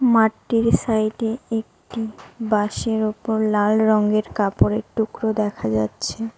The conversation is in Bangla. মাঠটির সাইড এ একটি বাঁশের ওপর লাল রঙের কাপড়ের টুকরো দেখা যাচ্ছে।